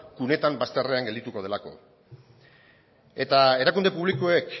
kuneta bazterrean geldituko delako eta erakunde publikoek